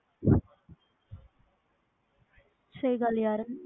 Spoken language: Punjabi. ਸਹੀ ਗੱਲ